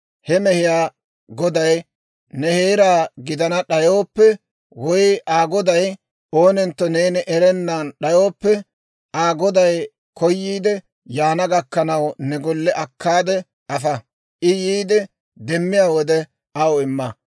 He mehiyaa goday ne heera gidana d'ayooppe, woy Aa goday oonentto neeni erana d'ayooppe, Aa goday koyiidde yaana gakkanaw, ne golle akkaade afa; I yiide, demmiyaa wode, aw imma.